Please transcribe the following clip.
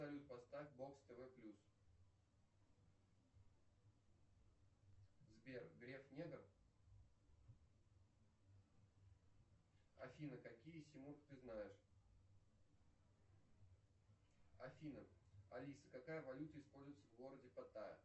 салют поставь бокс тв плюс сбер греф негр афина какие ты знаешь афина алиса какая валюта используется в городе паттая